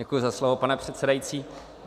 Děkuji za slovo, pane předsedající.